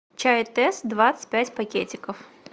чай тесс двадцать пять пакетиков